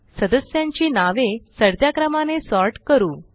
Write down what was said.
सदस्यांची नावे चढत्या क्रमाने सॉर्ट करू